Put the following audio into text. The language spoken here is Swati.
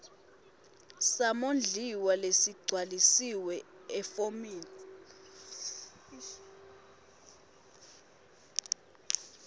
samondliwa lesigcwalisiwe efomini